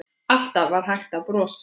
Alltaf var hægt að brosa.